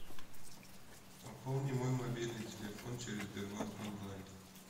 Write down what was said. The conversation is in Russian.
пополни мой мобильный телефон через сбербанк онлайн